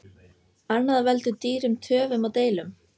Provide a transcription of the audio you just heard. Annað veldur dýrum töfum og deilum.